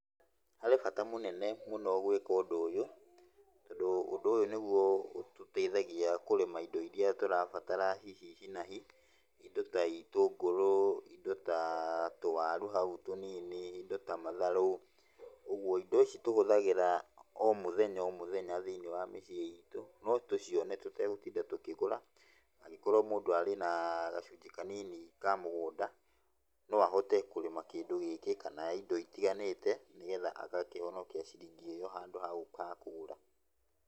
Harĩ bata mũnene mũno gwĩka ũndũ ũyũ, tondũ ũndũ ũyũ nĩguo ũtũteithagia kũrĩma indo iria tũrabatara hihi hi na hi. Indo ta itũngũrũ, indo ta tũwaru hau tũnini, indo ta matharũ, ũguo indo ici tũhũthagĩra o mũthenya o mũthenya thĩiniĩ wa mĩciĩ itũ, no tũcione tũtegũtinda tũkĩgũra angĩkorwo mũndũ arĩ na gacunjĩ kanini ka mũgũnda, no ahote kũrĩma kĩndũ gĩkĩ kana indo itiganĩte, nĩgetha agakĩhonokia ciringi ĩyo handũ ha gũka kũgũra.